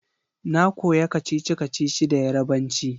Na koya kacici-kacici da Yarbanci